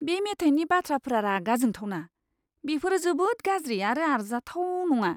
बे मेथाइनि बाथ्राफोरा रागा जोंथावना। बेफोरो जोबोद गाज्रि आरो आरजाथाव नङा!